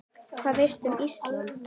Hvað veistu um Ísland?